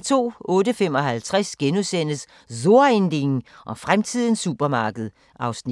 08:55: So ein Ding og fremtidens supermarked (Afs. 2)*